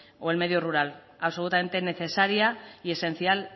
o el medio rural absolutamente necesaria y esencial